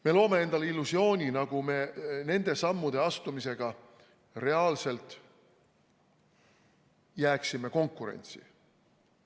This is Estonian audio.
Me loome endale illusiooni, nagu me nende sammude astumisega jääksime reaalselt konkurentsi.